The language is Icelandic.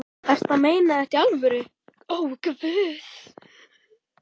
Ertu að meina þetta í alvöru?